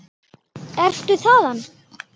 Ertu þaðan?